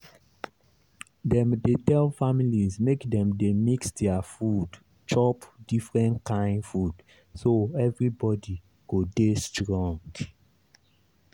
dem dey tell families make dem dey mix their food—chop different kain food so everybody go dey strong.